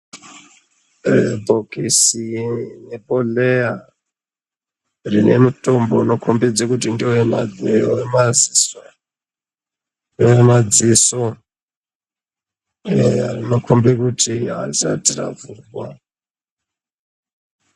Bhokisi nebhodhleya rine mutombo unokombidze kuti ngewemanheru wemaziso ngewemadziso rinokombe kuti harisati ravhurwa.